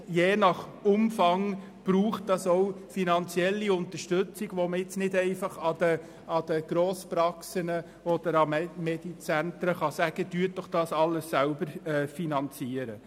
Je nach Umfang braucht es finanzielle Unterstützung, die man jetzt nicht einfach an Grosspraxen oder an Medizentren übergeben kann.